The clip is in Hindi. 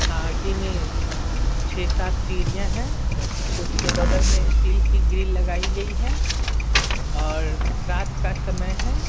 आगे में -- छह सात सीढ़ियां हैं उसके बगल में स्टील की ग्रिल लगाई गई है और रात का समय है।